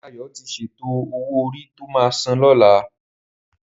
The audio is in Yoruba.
Dayo ti sétó ówó órí tó má sán lòlá